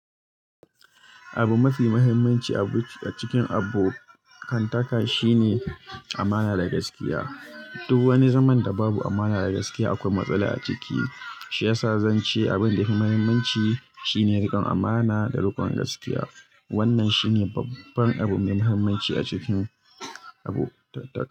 Abu mafi muhimmanci a cikin abokan taka shine amana da gaskiya. Dubu wani zaman da babu amana da gaskiya, akwai matsala a ciki. Shi yasa zance abin da yafi mahimmanci shine rikon amana da rikon gaskiya. Wannan shi ne babban abu mai muhimmanci a cikin abokantaka.